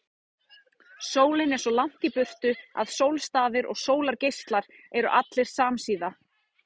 Sólin er svo langt í burtu að sólstafir og sólargeislar eru allir samsíða.